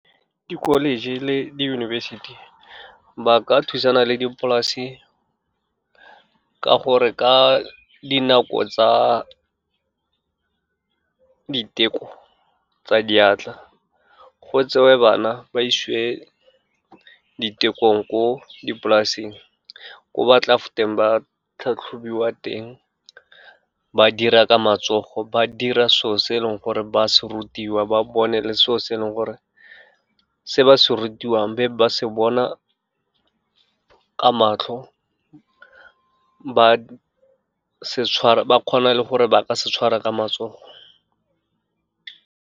Di-college le diyunibesithi ba ka thusana le dipolase ka gore ka dinako tsa diteko tsa diatla, go tsewe bana ba isiwe ditekong ko dipolaseng, ko batla fetang ba tlhatlhobiwa teng, ba dira ka matsogo, ba dira selo se e leng gore ba se rutiwa, ba bone le selo se e leng gore se ba se rutiwang, be ba se bona ka matlho, ba kgona le gore ba ka se tshwara ka matsogo.